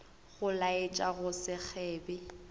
go laetša go se kgebe